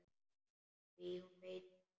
Því hún veit það.